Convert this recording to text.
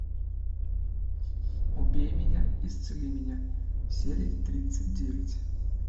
убей меня исцели меня серия тридцать девять